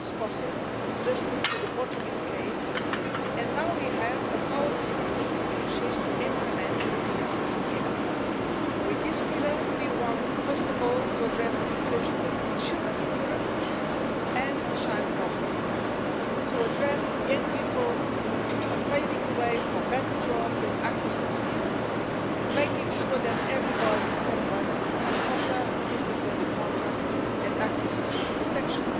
It is possible just look at the Portuguese case and now we have a powerful solution, which is to implement the European social pillar. With this pillar we want first of all to address the situation of children in Europe, to end child poverty and to address the situation of young people, paving the way for better jobs and access to skills, making sure that everybody can have a proper, decent labour contract and access to social protection.